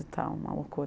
e tal, uma loucura